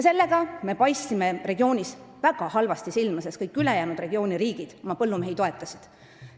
Sellega me paistsime regioonis väga halvasti silma, sest regiooni kõik ülejäänud riigid oma põllumehi toetasid.